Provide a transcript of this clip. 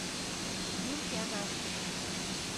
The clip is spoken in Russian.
юльке анашкиной